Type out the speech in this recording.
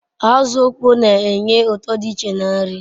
Azu okpoo n'enye uto di iche na nri